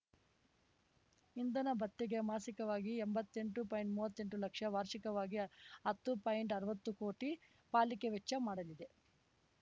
ಇಂಧನ ಭತ್ಯೆಗೆ ಮಾಸಿಕವಾಗಿ ಎಂಬತ್ತೆಂಟು ಪಾಯಿಂಟ್ಮುವ್ವತ್ತೆಂಟು ಲಕ್ಷ ವಾರ್ಷಿಕವಾಗಿ ಹತ್ತು ಪಾಯಿಂಟ್ಅರ್ವತ್ತು ಕೋಟಿ ಪಾಲಿಕೆ ವೆಚ್ಚ ಮಾಡಲಿದೆ